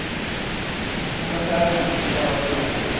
Och affärerna, de bara rullar på.